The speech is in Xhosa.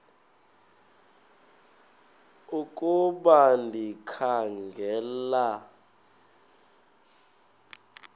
ukuba ndikha ngela